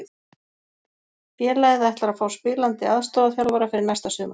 Félagið ætlar að fá spilandi aðstoðarþjálfara fyrir næsta sumar.